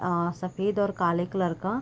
आ सफेद और काले कलर का--